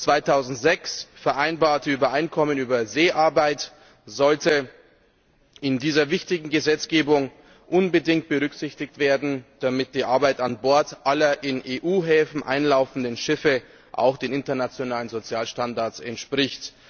Das 2006 vereinbarte Übereinkommen über Seearbeit sollte in dieser wichtigen Gesetzgebung unbedingt berücksichtigt werden, damit die Arbeit an Bord aller in EU Häfen einlaufenden Schiffe auch den internationalen Sozialstandards entspricht.